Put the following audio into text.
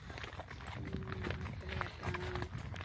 உம் அப்படியாக்கா